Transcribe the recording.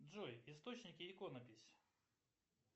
джой источники иконопись